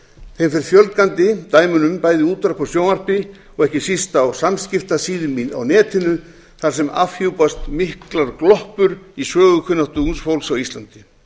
þeim fer mjög fjölgandi dæmunum bæði í útvarpi og sjónvarpi og ekki síst á samskiptasíðum á netinu þar sem afhjúpast miklar gloppur í sögukunnáttu ungs fólks á íslandi